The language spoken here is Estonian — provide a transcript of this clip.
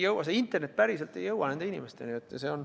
See internet päriselt ei jõua nende inimesteni.